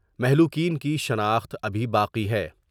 مہلوکین کی شناخت ابھی باقی ہے ۔